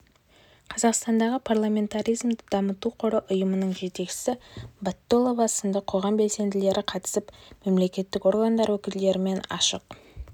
қазақстандағы парламентаризмді дамыту қоры ұйымының жетекшісі батталова сынды қоғам белсенділері қатысып мемлекеттік органдар өкілдерімен ашық